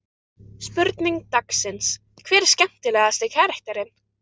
Spurning dagsins: Hver er skemmtilegasti karakterinn?